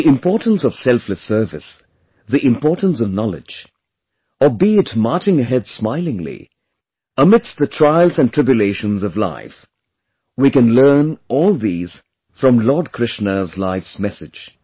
The importance of selfless service, the importance of knowledge, or be it marching ahead smilingly, amidst the trials and tribulations of life, we can learn all these from Lord Krishna's life's message